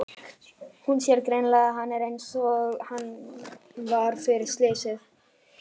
Hún sér greinilega að hann er einsog hann var fyrir slysið.